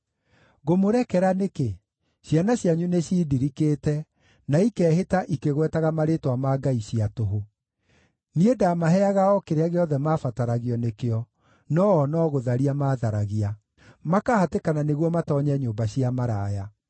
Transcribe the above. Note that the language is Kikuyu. “Ngũmũrekera nĩkĩ? Ciana cianyu nĩciindirikĩte, na ikeehĩta ikĩgwetaga marĩĩtwa ma ngai cia tũhũ. Niĩ ndaamaheaga o kĩrĩa gĩothe mabataragio nĩkĩo, no-o no gũtharia maatharagia, makahatĩkana nĩguo matoonye nyũmba cia maraya.